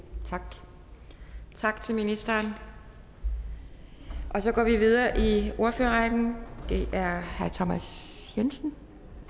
tak tak til ministeren og så går vi videre i ordførerrækken det er herre thomas jensen